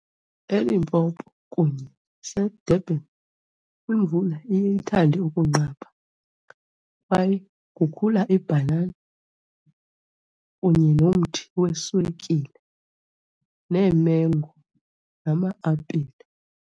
ELimpopo kunye naseDurban imvula iye ithande ukunqaba kwaye kukhula ibhanana kunye nomthi weswekile neemengo nama-apile.